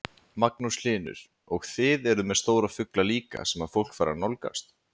Magnús Hlynur: Og þið eruð með stóra fugla líka sem að fólk fær að nálgast?